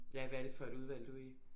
Ja hvad er det for et udvalg du er i?